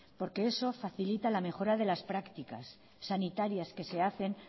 porque eso facilita la mejora de las prácticas sanitarias que se hacen